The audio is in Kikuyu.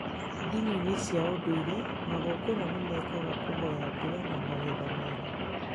Ndini-inĩ cia ũndũire, magongona nĩ mekagwo kũhoya mbura na magetha mega.